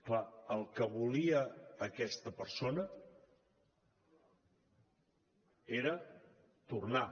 clar el que volia aquesta persona era tornar